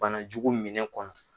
Banajugu minɛn kɔnɔ